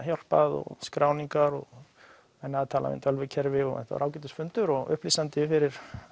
hjálpað og skráningar og tölvukerfi en þetta var ágætis fundur og upplýsandi fyrir